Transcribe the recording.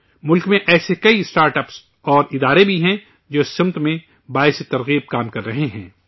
ملک میں ایسے کئی اسٹارٹ اپس اور ادارے بھی ہیں جو اس سمت میں مثالی کام کر رہے ہیں